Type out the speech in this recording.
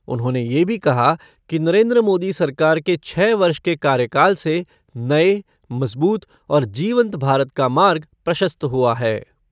उन्होंने ये भी कहा कि नरेन्द्र मोदी सरकार के छः वर्ष के कार्यकाल से नए, मजबूत और जीवन्त भारत का मार्ग प्रशस्त हुआ है।